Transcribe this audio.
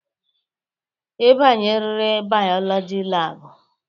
Ị banyeririr bayolọjị lab.